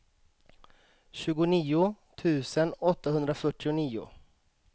tjugonio tusen åttahundrafyrtionio